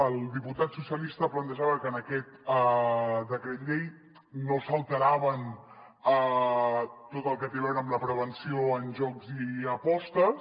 el diputat socialista plantejava que en aquest decret llei no s’alterava tot el que té a veure amb la prevenció en jocs i apostes